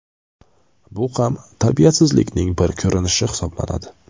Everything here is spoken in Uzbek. Bu ham tarbiyasizlikning bir ko‘rinishi hisoblanadi.